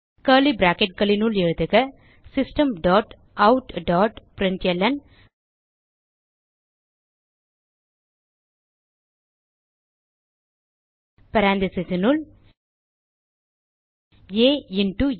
curly bracketகளினுள் எழுதுக system dot out dot println parenthesesனுள் ஆ இன்டோ ஆ